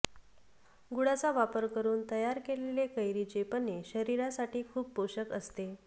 गुळाचा वापर करून तयार केलेले कैरीचे पन्हे शरीरासाठी खूप पोषक असते